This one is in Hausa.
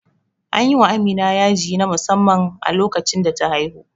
Anyi wa Amina yaji na musamman a lokacin da ta haihu